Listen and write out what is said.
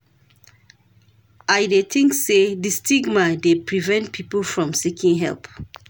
I dey think say di stigma dey prevent people from seeking help.